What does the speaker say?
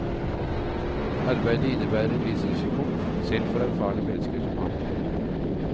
Arbeidet innebærer en viss risiko, selv for erfarne mennesker som ham.